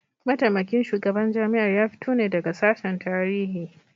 Mataimakin shugaban jami'ar ya fito ne daga sashen Tarihi